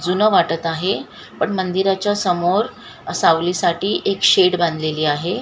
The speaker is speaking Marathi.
जुनं वाटत आहे पण मंदिराच्या समोर सावली साठी एक शेड बांधलेली आहे.